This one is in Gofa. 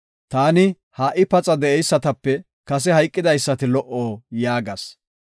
Taani, “Ha77i paxa de7eysatape kase hayqidaysati lo77o” yaagas.